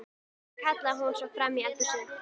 Sigga!, kallaði hún svo fram í eldhúsið.